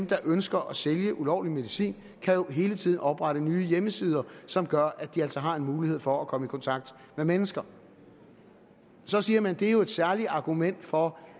der ønsker at sælge ulovlig medicin hele tiden kan oprette nye hjemmesider som gør at de altså har en mulighed for at komme i kontakt med mennesker så siger man at det jo er et særligt argument for